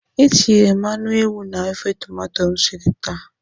Etinyere m anụ ewu na ofe tomato m siri taa.